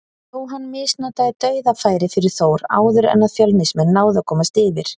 Jóhann misnotaði dauðafæri fyrir Þór áður en að Fjölnismenn náðu að komast yfir.